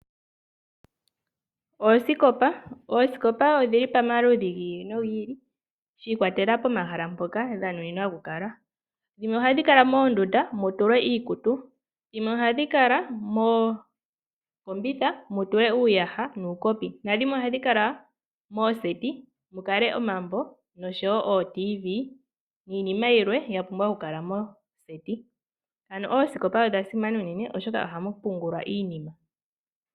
Oosikopa. Oosikopa odhili pamaludhi gi ili nogi ili shi ikwatelela pomahala mpoka dhina oku kala. Dhimwe ohadhi kala moondunda mu tulwe iikutu. Dhimwe ohadhi kala mookombitha mu tulwe uuyaha nuukopi. Nadhimwe ohadhi kala mooseti mu tulwe omambo noshowo ooTV niinima yilwe ya pumbwa oku tulwa moosikopa. Ano oosikopa odha simana unene oshoka ohamu pungulwa iinima.